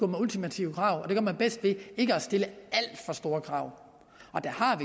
med ultimative krav og det gør man bedst ved ikke at stille alt for store krav og der har